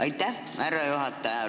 Aitäh, härra juhataja!